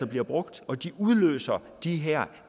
bliver brugt og udløser de her